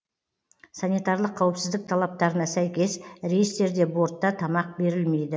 санитарлық қауіпсіздік талаптарына сәйкес рейстерде бортта тамақ берілмейді